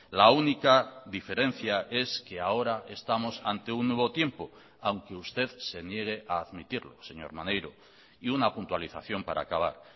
la única diferencia es que ahora estamos ante un nuevo tiempo aunque usted se niegue a admitirlo señor maneiro y una puntualización para acabar